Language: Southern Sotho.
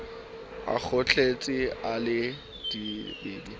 a kgohletse a le dibebe